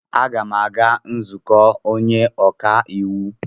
M ga-aga nzukọ onye ọka iwu.